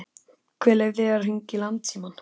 Hver leyfði þér að hringja í Landsímann?